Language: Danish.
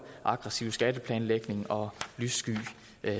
aggressiv skatteplanlægning og lyssky